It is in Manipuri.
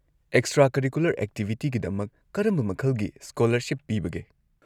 ꯑꯦꯛꯁꯇ꯭ꯔꯥ-ꯀꯔꯤꯀꯨꯂꯔ ꯑꯦꯛꯇꯤꯚꯤꯇꯤꯒꯤꯗꯃꯛ ꯀꯔꯝꯕ ꯃꯈꯜꯒꯤ ꯁ꯭ꯀꯣꯂꯔꯁꯤꯞ ꯄꯤꯕꯒꯦ?